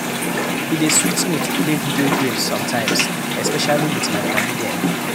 E dey sweet me to play video games sometimes especially with my padi dem